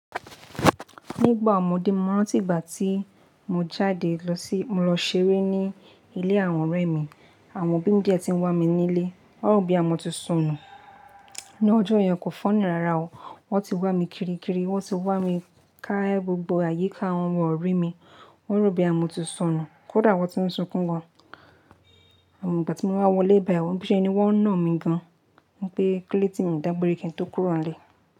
Nígbà ọmọdé mo rántí ìgbà tí mo jáde lọ sí-- mo lọ ṣeré ní ilé àwọn ọ̀rẹ́ mi, àwọn obí dẹ̀ tí ń wá mi nílé, wọ́n rò boyà mọ̀ ti sọnù. Ní ọjọ́ yẹn kò fúnny rara o, wọ́n ti wá mi kiri kiri, wọ́n ti wá mi ká gbogbo àyíká, wọ́n ò rí mi, wọ́n rò boyà mọ̀ ti sọnù. Kódà wọ́n ti ń sunkún gan, àmọ̀ ìgbà tí mo wá wọlé bái wọ́n bí i ṣe ni wọ́n na mí gan, wọ́n pẹ́ kílóde tí mi ò dágbẹ́re kí n tó kúrò nílé.